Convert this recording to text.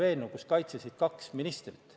Eelnõu kaitsesid kaks ministrit.